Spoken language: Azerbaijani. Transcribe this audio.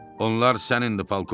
Onlar sənindi polkovnik.